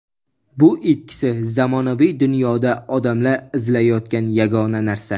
Bu ikkisi zamonaviy dunyoda odamlar izlayotgan yagona narsa.